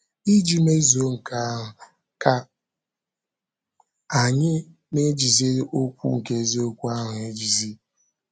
Iji mezuo nke ahụ, ka anyị “ na - ejizi okwu nke eziokwu ahụ ejizi. ”